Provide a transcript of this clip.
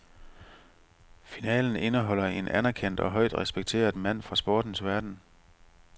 Finalen indeholder en anerkendt og højt respekteret mand fra sportens verden.